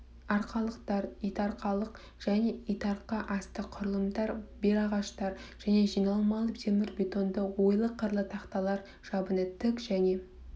арқалықтар итарқалық және итарқа асты құрылымдар белағаштар және жиналмалы темірбетонды ойлы-қырлы тақталар жабыны тік және